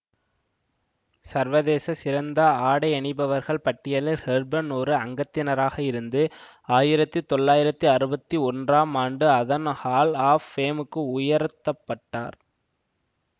சர்வதேச சிறந்த ஆடையணிபவர்கள் பட்டியலில் ஹெப்பர்ன் ஒரு அங்கத்தினராக இருந்து ஆயிரத்தி தொளாயிரத்தி அறுபத்தி ஒன்றாம் ஆண்டு அதன் ஹால் ஆஃப் ஃபேமுக்கு உயர்த்த பட்டார்